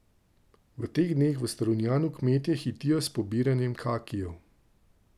V teh dneh v Strunjanu kmetje hitijo s pobiranjem kakijev.